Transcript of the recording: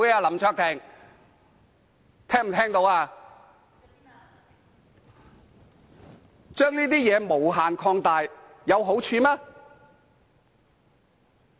你將這件事無限擴大，有好處嗎？